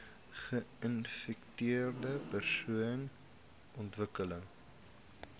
geinfekteerde persone ontwikkel